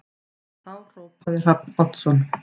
Þá hrópaði Hrafn Oddsson